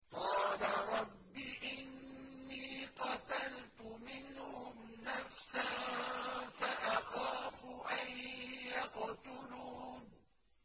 قَالَ رَبِّ إِنِّي قَتَلْتُ مِنْهُمْ نَفْسًا فَأَخَافُ أَن يَقْتُلُونِ